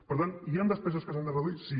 per tant hi han despeses que s’han de reduir sí